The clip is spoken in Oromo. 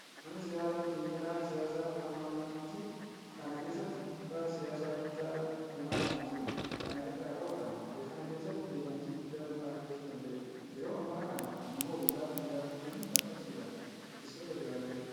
Namni siyaasaa xiinxalaan siyaasaa Jowaar Mohaammad biyya kana keessatti dhiibbaa siyaasaa guddaa uumaa nama jirudha. Kana irraa ka'uudhaan biyya kana keessatti beekamtii guddaa nama argachuu danda'edha. Yeroo ammaa kana immoo kitaaba hin gaabbu jedhu maxxansuudhaan dubbistoota biraan gaheera.